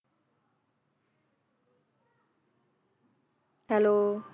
Hello